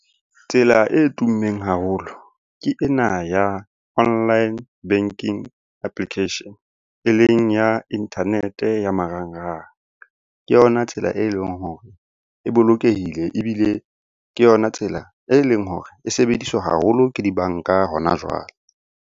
Tsela e tummeng haholo ke ena ya online banking application. E leng ya internet-e ya marangrang. Ke yona tsela e leng hore e bolokehile ebile ke yona tsela e leng hore e sebediswa haholo ke dibanka hona jwale.